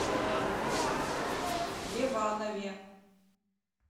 леванове